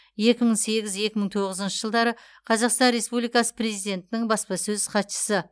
екі мың сегіз екі мың тоғызыншы жылдары қазақстан республикасы президентінің баспасөз хатшысы